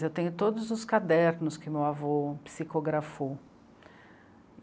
Eu tenho todos os cadernos que meu avô psicografou.